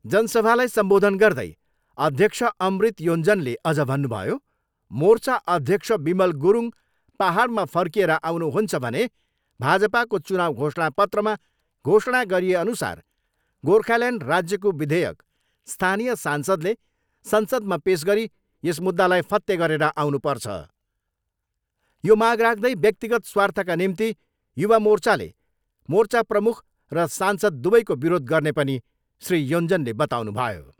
जनसभालाई सम्बोधन गर्दै अध्यक्ष अमृत योञ्जनले अझ भन्नुभयो, मोर्चा अध्यक्ष विमल गुरूङ पाहाडमा फर्किएर आउनुहुन्छ भने भाजपाको चुनाउ घोषणा पत्रमा घोषणा गरिए अनुसार गोर्खाल्यान्ड राज्यको विधेयक स्थानीय सांसदले संसदमा पेस गरी यस मुद्दालाई फत्ते गरेर आउनुपर्छ। यो माग राख्दै व्यक्तिगत स्वार्थका निम्ति युवा मोर्चाले मोर्चा प्रमुख र सांसद दुवैको विरोध गर्ने पनि श्री योञ्जनले बताउनुभयो।